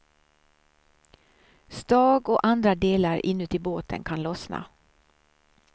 Stag och andra delar inuti båten kan lossna.